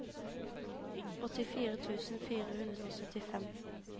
åttifire tusen fire hundre og syttifem